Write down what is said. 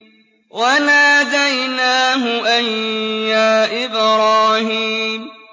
وَنَادَيْنَاهُ أَن يَا إِبْرَاهِيمُ